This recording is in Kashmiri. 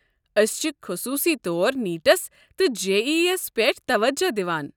أسۍ چھِ خصوصی طور نیٖٹس تہِ جے ای ای ہس پٮ۪ٹھ توجہ دوان۔